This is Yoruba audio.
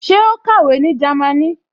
Ṣé ó kàwé ní Jámínì?